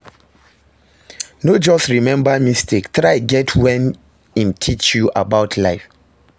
No just remmba mistake, try get wetin em teach you about life